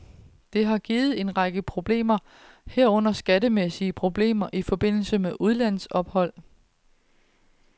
Det har givet en række problemer, herunder skattemæssige problemer i forbindelse med udlandsophold.